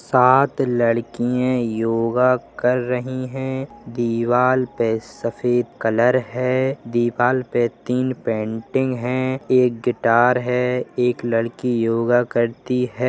सात लड़किए योगा कर रही हैं दीवाल पे सफेद कलर है दीवाल पे तीन पेंटिंग हैं एक गिटार हैं एक लड़की योगा करती है।